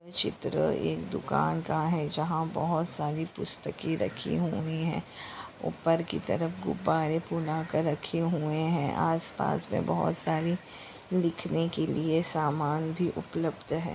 चित्र एक दुकान का हैं जहाँ बहोत सारी पुस्तके रखी हुई हैं उपर की तरफ गुब्बारे फुला कर रखे हुए हैं आसपास में बहोत सारी लिखने के लिये सामान भी उपलब्ध हैं।